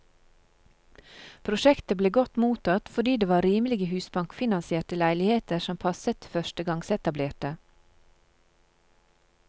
Prosjektet ble godt mottatt, fordi det var rimelige husbankfinansierte leiligheter som passet til førstegangsetablerte.